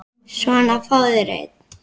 Svona, fáðu þér einn.